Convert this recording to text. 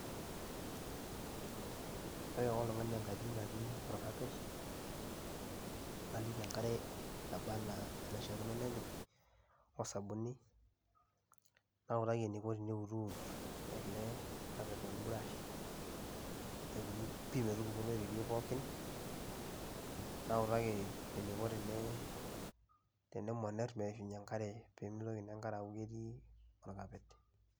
Ore iwa oltung'ani enkaji natii olkapet, naliki enkare nabaa ana enaishaakino nepik o sabuni, nautaki eneiko teneutut ele carpet te mbrash aituku pii metupuku oloirerio pookin nautaki eneiko tenemonir meishunye enkare pee meitoki naa enkare aaku ketii olkapet.